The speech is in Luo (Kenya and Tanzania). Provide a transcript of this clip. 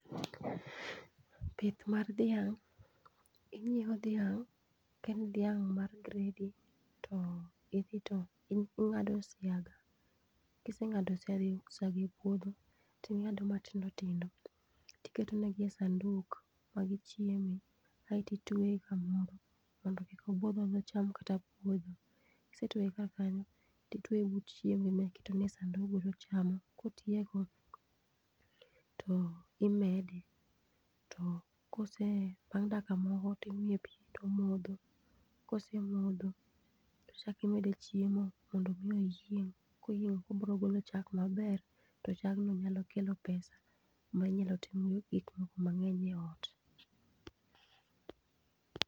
Pith mar dhiang': Ing'iewo dhiang' ka en dhiang' mar gredi to idhi to ing'ado osiaga. Kiseng'ado osiaga e puodho ting'ado matindo tindo tiketonegi e sanduk ma gichieme, aeti itweye kamoro mondo kik obuodho mondo odhi cham puodho. Kisetweye ka kanyo, titweye but chiemo ma iketone but sandug go tochamo. Kotieko to imede, to kose bang' dakika moko timiye pi tomodho. Kose modho, tichakimede chiemo, mondo mi oyieng'. Koyieng' ekonbro golo chak maber, to chagno biro golo pesa ma inyal timgo gik moko mang'eny ei ot.